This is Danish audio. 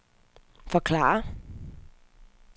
forklare